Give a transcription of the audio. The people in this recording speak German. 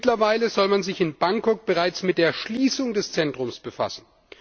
Mittlerweile soll man sich in Bangkok bereits mit der Schließung des Zentrums befassen.